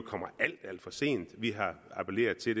kommer alt alt for sent vi appellerede til